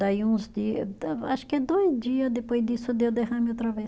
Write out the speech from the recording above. Daí uns dia, acho que dois dia depois disso, deu derrame outra vez.